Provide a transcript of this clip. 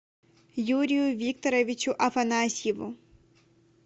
юрию викторовичу афанасьеву